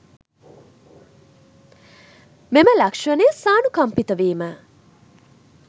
මෙම ලක්ෂණය සානුකම්පිත වීම